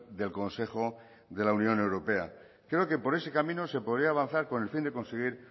del consejo de la unión europea creo que por ese camino se podría avanzar con el fin de conseguir